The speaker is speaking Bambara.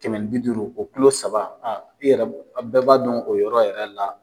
Kɛmɛ ni bi duuru o kulo saba aa i yɛrɛ bɛɛ b'a dɔn o yɔrɔ yɛrɛ la.